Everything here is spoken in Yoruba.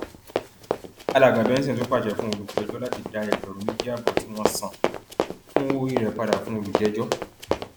alàgbà benson tún pàṣẹ fún olùpẹjọ láti dá ẹgbẹrún méjì ààbọ tí wọn san fún owóorí rẹ padà fún olùjẹjọ